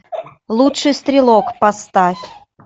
лучший стрелок поставь